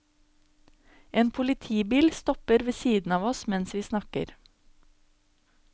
En politibil stopper ved siden av oss mens vi snakker.